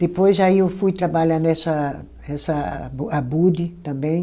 Depois aí eu fui trabalhar nessa, nessa Abu Abud também.